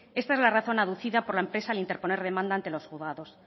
esta es la razón aducida por la empresa al interponer demanda ante los juzgados